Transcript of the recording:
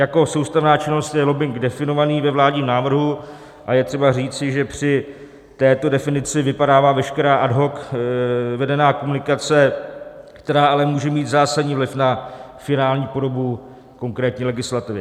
Jako soustavná činnost je lobbing definován ve vládním návrhu a je třeba říci, že při této definici vypadává veškerá ad hoc vedená komunikace, která ale může mít zásadní vliv na finální podobu konkrétní legislativy.